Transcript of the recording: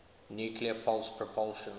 nuclear pulse propulsion